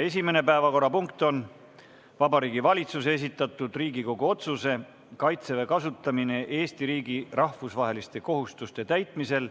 Esimene päevakorrapunkt on Vabariigi Valitsuse esitatud Riigikogu otsuse "Kaitseväe kasutamine Eesti riigi rahvusvaheliste kohustuste täitmisel